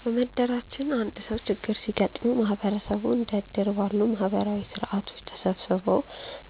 በመንደራችን አንድ ሰው ችግር ሲገጥመው ማህበረሰቡ እንደ እድር ባሉ ማህበራዊ ስርዓቶች ተሰባስቦ